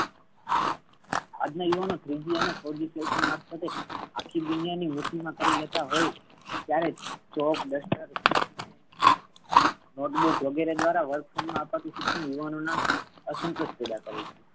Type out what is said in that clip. આજના યુવાનો threegfourg આખી દુનિયા ને મુઠી મા કરી લેતા હોઈ ત્યારે notebook વગેરે દ્વારા શિક્ષણ યુવાનો ના અસંતુષ્ટ પૈદા કરે છે.